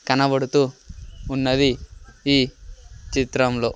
కనబడుతూ ఉన్నది ఈ చిత్రంలో.